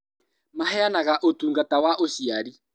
Maheanaga ũtungata wa ũciari